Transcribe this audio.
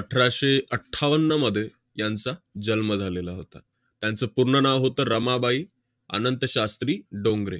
अठराशे अठ्ठावन्नमध्ये यांचा जन्म झालेला होता. यांचं पूर्ण नाव होतं रमाबाई अनंतशास्त्री डोंगरे.